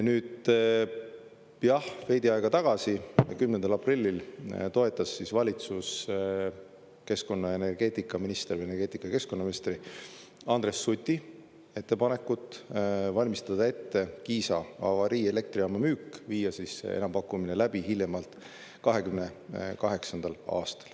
Nüüd, jah, veidi aega tagasi, 10. aprillil toetas valitsus keskkonna- ja energeetikaministri või energeetika- ja keskkonnaministri Andres Suti ettepanekut valmistada ette Kiisa avariielektrijaama müük, viia enampakkumine läbi hiljemalt 2028. aastal.